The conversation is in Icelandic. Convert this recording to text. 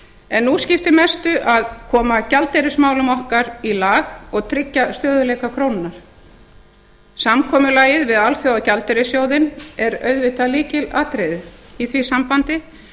en nú skiptir mestu að koma gjaldeyrismálum okkar í lag og tryggja stöðugleika krónunnar samkomulagið við alþjóðagjaldeyrissjóðinn er auðvitað lykilatriði í því sambandi